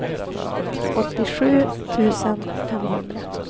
åttiosju tusen femhundra